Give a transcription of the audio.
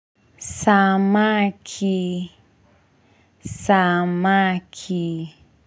Samaki, samaki.